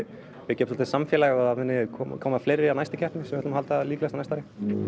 byggja upp samfélag og það muni koma koma fleiri á næstu keppnir sem við ætlum að halda líklegast á næsta ári